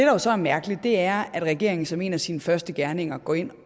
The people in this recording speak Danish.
jo så er mærkeligt er at regeringen som en af sine første gerninger går ind